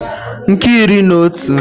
nke iri na otu